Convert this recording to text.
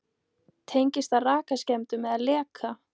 Tengist það rakaskemmdum eða leka?